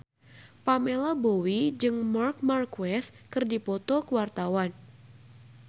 Pamela Bowie jeung Marc Marquez keur dipoto ku wartawan